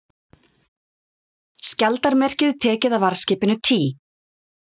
Skjaldarmerkið tekið af varðskipinu Tý